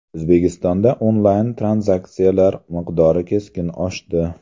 O‘zbekistonda onlayn-tranzaksiyalar miqdori keskin oshdi.